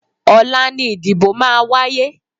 Ọ̀la ni ìdìbò máa wáyé.